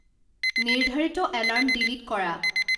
নিৰ্ধাৰিত alarm delete কৰা